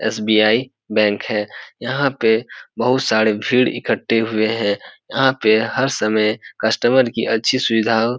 SBI. Bank है यहाँ पे बहुत सारे भीड़ इकट्ठे हुए हैं यहाँ पे हर समय कस्टमर की अच्छी सुविधा --